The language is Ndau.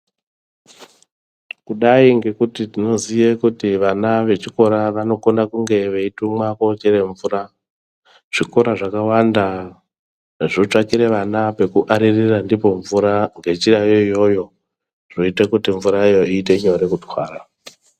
Kudai ngekuti tinoziye kuti vana vechikora vanokona kunge veitumwa koo chere mvura, zvikora zvakawanda zvotsvakira ana pekuaririra ndipo mvura ngenjirayo iyoyo zvoite nyore kuti mvureyo iite nyore kutwara.